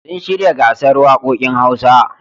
Sun shirya gasar waƙoƙin Hausa.